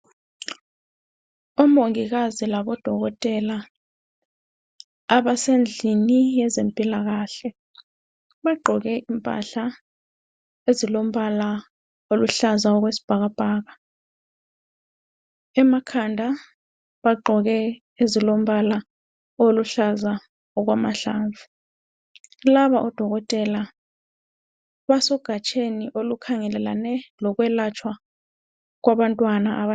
Omongikazi labodokotela abasendlini yezempilakahle. Bagqoke impahla ezilombala oluhlaza okwesibhakabhaka. Emakhanda bagqoke ezilombala oluhlaza okwamahlamvu. Laba odokotela basegatsheni olukhangelelane lokwelatshwa kwabantwana.